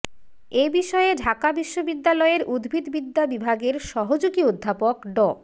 এ বিষয়ে ঢাকা বিশ্ববিদ্যালয়ের উদ্ভিদবিদ্যা বিভাগের সহযোগী অধ্যাপক ড